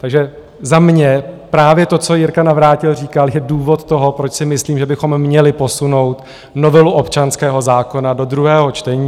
Takže za mě, právě to, co Jirka Navrátil říkal, je důvod toho, proč si myslím, že bychom měli posunout novelu občanského zákona do druhého čtení.